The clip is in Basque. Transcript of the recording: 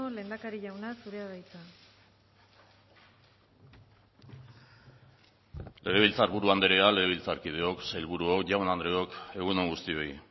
lehendakari jauna zurea da hitza legebiltzar buru anderea legebiltzarkideok sailburuok jaun andreok egun on guztioi